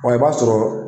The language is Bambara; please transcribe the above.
i b'a sɔrɔ